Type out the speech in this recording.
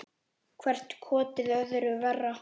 Hvert kotið öðru verra.